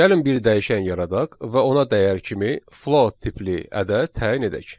Gəlin bir dəyişən yaradaq və ona dəyər kimi float tipli ədəd təyin edək.